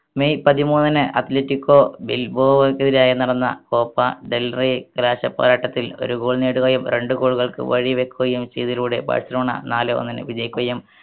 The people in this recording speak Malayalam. മെയ് പതിമൂന്നിന് athletico ബിൽബോണക്കെതിരായ് നടന്ന കോപ്പ ഒരു goal നേടുകയും രണ്ട് goal കൾക്ക് വഴി വെക്കുകയും ചെയ്തതിലൂടെ ബാഴ്‌സലോണ നാലെ ഒന്നിന് വിജയിക്കുകയും